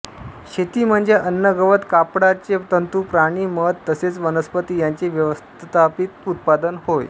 शेती म्हणजे अन्न गवत कापडाचे तंतू प्राणी मध तसेच वनस्पती यांचे व्यवस्थापित उत्पादन होय